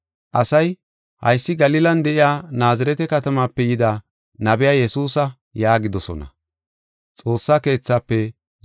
Asay, “Haysi Galilan de7iya Naazirete katamaape yida nabiya Yesuusa” yaagidosona.